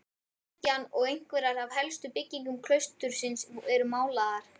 Kirkjan og einhverjar af helstu byggingum klaustursins eru málaðar.